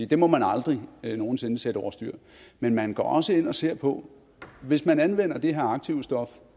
det må man aldrig nogen sinde sætte over styr men man går også ind og ser på hvis man anvender det her aktivstof